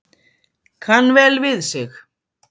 Kann vel við sig